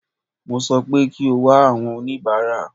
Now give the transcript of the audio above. Mo sọ pé kí o wá àwọn oníbàárà.